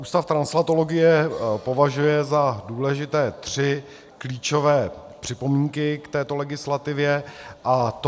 Ústav translatologie považuje za důležité tři klíčové připomínky k této legislativě, a to: